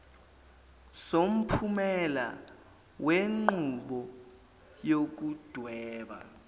somphumela wenqubo yokudweba